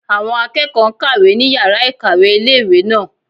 Àwọn akẹ́kọ̀ọ́ n kàwé ní yàrá-ìkàwé ilé-ìwé náà